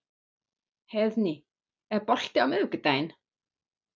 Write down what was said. Heiðný, er bolti á miðvikudaginn?